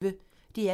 DR P1